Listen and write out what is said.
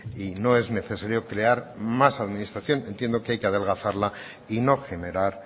y no es necesario crear más administración entiendo que hay que adelgazarla y no generar